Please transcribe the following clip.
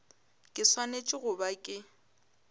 ke swanetše go ba ke